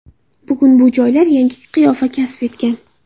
Bugun bu joylar yangi qiyofa kasb etgan.